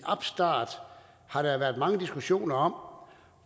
opstart har der været mange diskussioner om